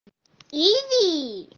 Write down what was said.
иди